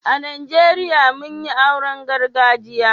A Najeriya mun yin auren gargajiya.